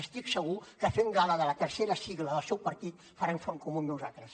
estic segur que fent gala de la tercera sigla del seu partit faran front comú amb nosaltres